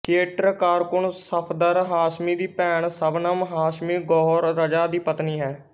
theatre ਕਾਰਕੁਨ ਸਫਦਰ ਹਾਸ਼ਮੀ ਦੀ ਭੈਣ ਸ਼ਬਨਮ ਹਾਸ਼ਮੀ ਗੌਹਰ ਰਜ਼ਾ ਦੀ ਪਤਨੀ ਹੈ